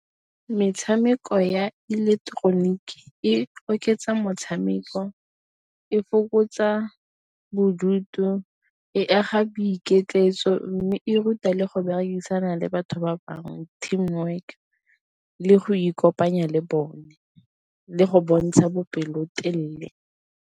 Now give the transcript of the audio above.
Metshameko ya ileketeroniki e oketsa motshameko, e fokotsa bodutu, e aga boiketletso, mme e ruta le go berekisana le batho ba bangwe team work le go ikopanya le bone le go bontsha bopelotelele.